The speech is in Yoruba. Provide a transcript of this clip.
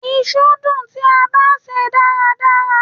Iṣu dùn tí a bá se e dáradára.